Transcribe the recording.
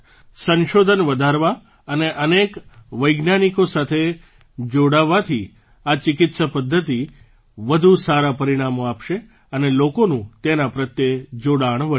સંશોધન વધારવા અને અનેક વૈજ્ઞાનિકો સાથે જોડાવાથી આ ચિકિત્સા પદ્ધતિ વધુ સારાં પરિણામો આપશે અને લોકોનું તેના પ્રત્યે જોડાણ વધશે